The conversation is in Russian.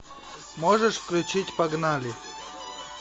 можешь включить погнали